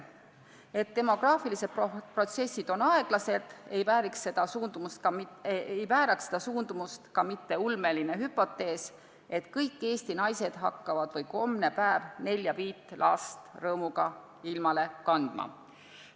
Et demograafilised protsessid on aeglased, ei vääraks seda suundumust ka mitte ulmeline hüpotees, et kõik Eesti naised hakkavad hommepäev rõõmuga 4–5 last ilmale kandma.